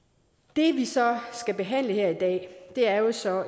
det vi så skal behandle her i dag er jo så